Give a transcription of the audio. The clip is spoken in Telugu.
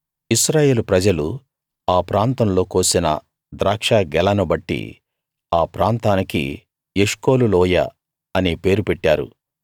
ఇశ్రాయేలు ప్రజలు ఆ ప్రాంతంలో కోసిన ద్రాక్ష గెలను బట్టి ఆ ప్రాంతానికి ఎష్కోలు లోయ అనే పేరు పెట్టారు